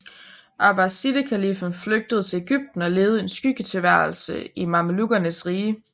Abbasidekaliffen flygtede til Egypten og levede en skyggetilværelse i mamelukkernes rige